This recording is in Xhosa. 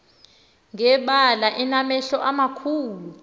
ngebala enamehlo amakhulu